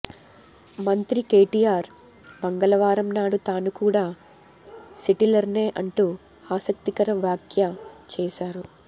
మంత్రి కెటిఆర్ మంగళవారం నాడు తాను కూడా సెటిలర్నే అంటూ ఆసక్తికర వ్యాఖ్య చేశారు